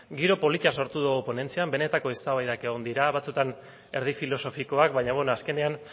giro polita sortu dugu ponentzian benetako eztabaidak egon dira batzuetan erdi filosofikoak baina bueno azkenean